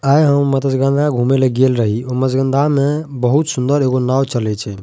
आय हम मत्स्यगंधा घूमे ले गेल रही ओय मत्स्यगंधा मे बहुत सुन्दर एगो नाव चले छै।